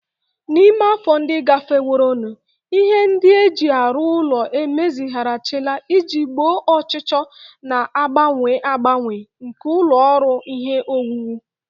Na ime afọ ndị gafeworonụ, ihe ndị e ji arụ ụlọ emezigharịla iji gboo ọchịchọ na-agbanwe agbanwe nke ụlọ ọrụ ihe owuwu